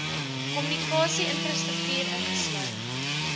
kommunikasie infrastruktuur insluit